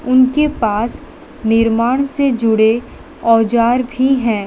उनके पास निर्माण से जुड़े औजार भी है।